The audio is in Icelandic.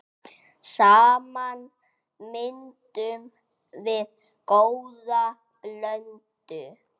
Saman myndum við góða blöndu.